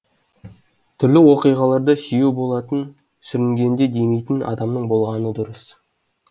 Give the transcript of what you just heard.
түрлі оқиғаларда сүйеу болатын сүрінгенде демейтін адамың болғаны дұрыс